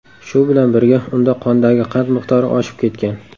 Shu bilan birga unda qondagi qand miqdori oshib ketgan.